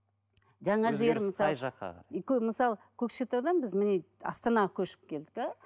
мысалы көкшетаудан біз міне астанаға көшіп келдік те